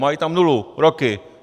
Mají tam nulu, roky.